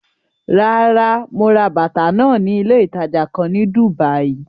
Rárá, mo ra bàtà náà ní ilé ìtajà kan ní Dùbàí.